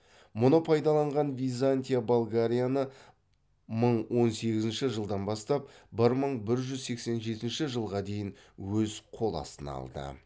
мұны пайдаланған византия болгарияны мың он сегізінші жылдан бастап бір мың бір жүз сексен жетінші жылға дейін өз қол астына алды